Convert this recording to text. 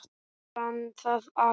Brann það allt?